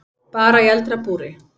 Bara í eldra búri.